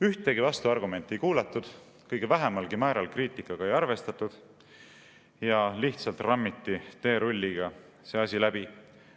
Ühtegi vastuargumenti ei kuulatud, kõige vähemalgi määral kriitikaga ei arvestatud ja lihtsalt rammiti teerulliga see asi läbi.